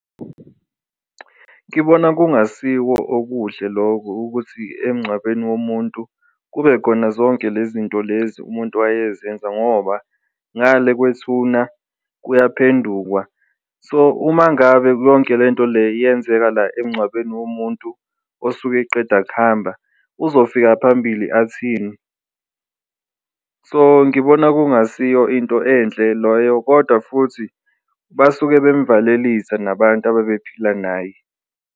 Ngibona kungasiwo okuhle loko ukuthi emncwabeni womuntu kube khona zonke lezi zinto lezi muntu wayezenza ngoba ngale kwethuna kuya phendukwa so, uma ngabe bonke lento le yenzeka la emncwabeni womuntu osuke eqeda kuhamba, uzofika phambili athini. So, ngibona kungasiyo into enhle loyo kodwa futhi basuke bemvalelisa nabantu ababephila naye.